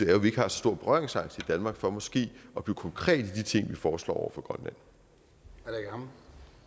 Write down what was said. at vi ikke har så stor berøringsangst i danmark for måske at blive konkrete i de ting vi foreslår over